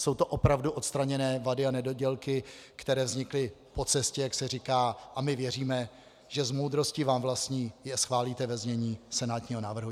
Jsou to opravdu odstraněné vady a nedodělky, které vznikly po cestě, jak se říká, a my věříme, že s moudrostí vám vlastní je schválíte ve znění senátního návrhu.